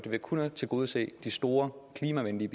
ved kun at tilgodese de store klimavenlige